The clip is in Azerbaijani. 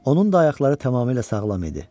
Onun da ayaqları tamamilə sağlam idi.